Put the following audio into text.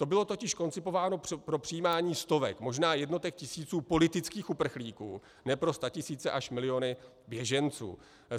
To bylo totiž koncipováno pro přijímání stovek, možná jednotek tisíců politických uprchlíků, ne pro statisíce až miliony běženců.